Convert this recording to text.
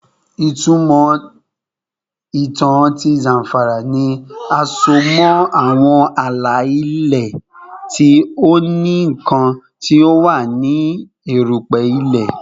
Itumọ itan ti Zamfara ni a so mọ awọn ala-ilẹ ti o ni nkan ti o wa ni erupe ile